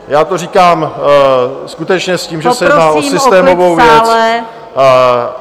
Já to říkám skutečně s tím, že se jedná o systémovou věc.